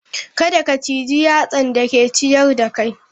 Kada ka ciji yatsan da ke ciyar da kai.